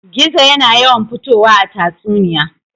Gizo yana yawan fitowa a tatsuniya.